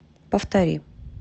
повтори